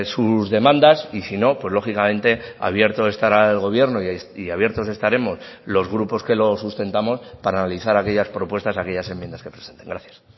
sus demandas y si no pues lógicamente abierto estará el gobierno y abiertos estaremos los grupos que lo sustentamos para analizar aquellas propuestas aquellas enmiendas que presenten gracias